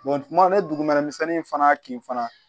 tumu ni dugumɛnɛ misɛnnin fana kin fana